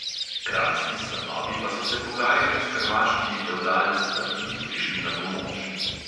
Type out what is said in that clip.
Kranjski stanovi pa so se pogajali s hrvaškimi fevdalci, da bi jim prišli na pomoč.